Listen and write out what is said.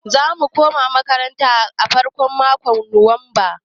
Za mu koma makaranta a farkon makon nuwamba.